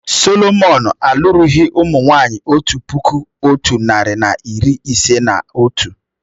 Sọlọmọn alụrụghi ụmụ nwanyị otu puku otu nari na iri ise na otu